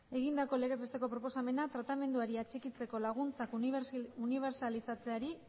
egindako legezbesteko proposamena tratamenduari atxikitzeko laguntzak unibertsalizatzeari